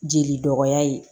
Jeli dɔgɔya ye